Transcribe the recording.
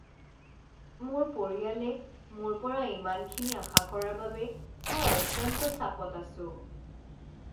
মোৰ পৰিয়ালে মোৰ পৰা ইমানখিনি আশা কৰাৰ বাবে মই অত্যন্ত চাপত আছোঁ।